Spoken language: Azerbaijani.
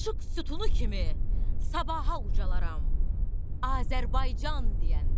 İşıq sütunu kimi sabaha ucalaram Azərbaycan deyəndə.